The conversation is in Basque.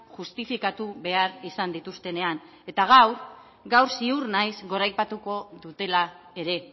justifikatu behar izan dituztenean eta gaur gaur ziur naiz goraipatuko dutela ere